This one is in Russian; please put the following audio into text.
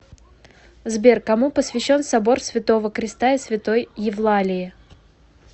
сбер кому посвящен собор святого креста и святой евлалии